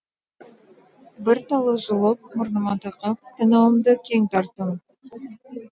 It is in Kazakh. бір талы жұлып мұрныма тақап танауымды кең тартым